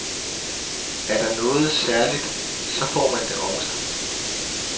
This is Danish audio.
Er der noget særligt, så får man det også.